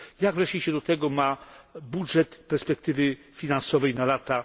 Jak się do tego ma budżet perspektywy finansowej na lata